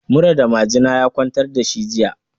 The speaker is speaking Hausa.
Mura da majina ya kwantar da shi jiya.